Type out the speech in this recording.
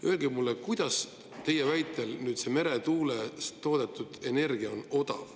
Öelge mulle, kuidas on teie väitel meretuulest toodetud energia odav.